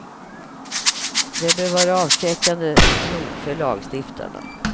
Det bör vara avskräckande nog för lagstiftarna.